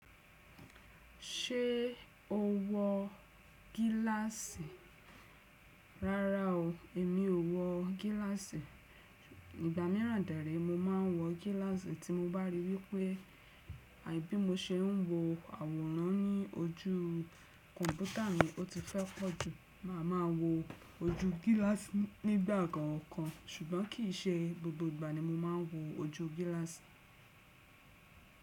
Ṣé o wọ gíláàsì? Rárá o, èmi ò wọ gíláàsì. Nígbà míràn dere mo ma ń wọ gíláàsì tí mo bá rí wípé àbí mo se ń wo àwòrán ní ojú kọ̀ǹpútà mi, o ti fẹ́ pọ́ jù, màá ma wọ ojú gíláàsì nígbà kan kàn ṣùgbọ́n kì í ṣe gbogbo ìgbà ni mo máa ń wọ ojú gíláàsì.